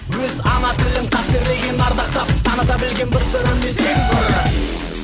өз ана тілін қастерлеген ардақтап таныта білген бір сыры мен сегіз қырын